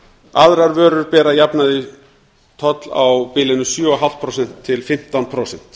aðrar vörur bera að jafnaði toll á bilinu sjötíu og fimm prósent til fimmtán prósent